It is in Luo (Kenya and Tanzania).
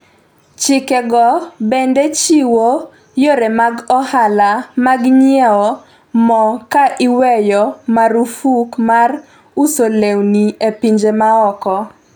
chike go bende chiwo yore mag ohala mag nyiewo mo ka iweyo marufuk mar uso lewni e pinje maoko